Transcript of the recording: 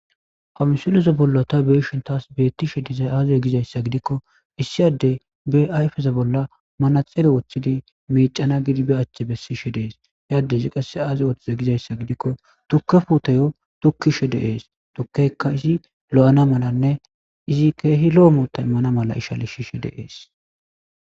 Ha misileza bolla ta beeshintas beettishe dizay aaze gizayssa gidikko issiyaddey be ayfeza bolla manaxele woththidi miicana gidibe achche bessishe dees yadde zi qasse aaze woththize gizayssa gidikko tukkefuutayo tukkishe deees tokkeykka izi lo7ana malanne izi keehi lo7omoota immana mala ishali shishe deees